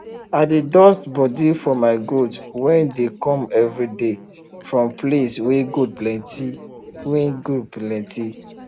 i dey dust bodi for my goat when dey come everyday 4rm place wey goat plenty wey goat plenty